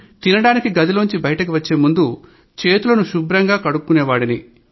తినడానికి గదిలోంచ బయటికి వచ్చే ముందు చేతులను శుభ్రంగా కడుక్కునేవాడిని